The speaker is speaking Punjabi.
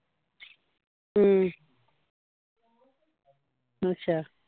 ਠੀਕ ਅੱਛਾ